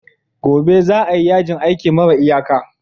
Gobe ​​za a yi yajin aiki mara iyaka